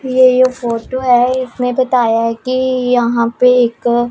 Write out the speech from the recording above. ये फोटो है इसमें बताया है कि यहां पे एक--